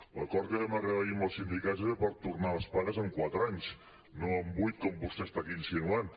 l’acord a què vam arribar ahir amb els sindicats era per tornar les pagues en quatre anys no en vuit com vostè està aquí insinuant